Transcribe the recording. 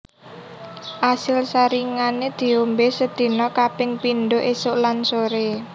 Asil saringane diombe sedina kaping pindho esuk lan sore